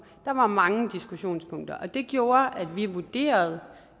der var mange diskussionspunkter det gjorde at vi vurderede